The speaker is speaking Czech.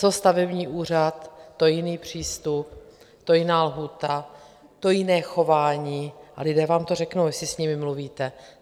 Co stavební úřad, to jiný přístup, to jiná lhůta, to jiné chování, a lidé vám to řeknou, jestli s nimi mluvíte.